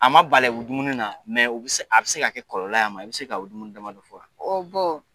A ma bala o dumuni na mɛ a bɛ se ka kɛ kɔlɔlɔ y'a ma i bɛ se ka o dumuni damadɔ fɔ wa o bon